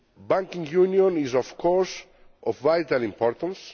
Banking union is, of course, of vital importance.